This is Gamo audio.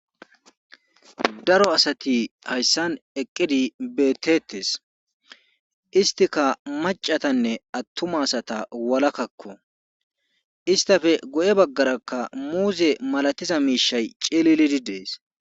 Daro asati hayssan eqqidi beetteetesisttika macca asatanne attumata walakakko isttafe guye baggarakka muuze malatioza miishay cililidi dees.